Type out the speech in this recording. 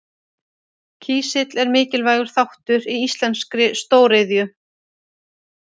Kísill er mikilvægur þáttur í íslenskri stóriðju.